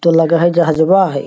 तो लगय हय जहजवा हय।